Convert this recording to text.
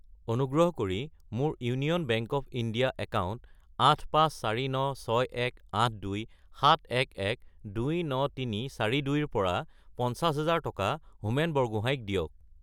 অনুগ্ৰহ কৰি মোৰ union bank of India account 8549618271129342 ৰ পৰা 50000 টকা হোমেন বৰগোহাঞি ক দিয়ক।